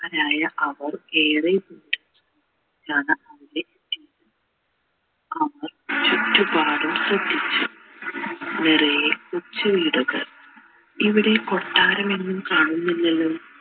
അതായ അവർ നിറയെ കൊച്ചു വീടുകൾ ഇവിടെ കൊട്ടാരം ഒന്നും കാണുന്നില്ലാലോ